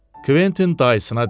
Kventin dayısına dedi: